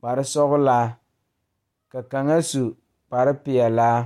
kparesɔglaa ka kaŋa su kparepeɛlaa.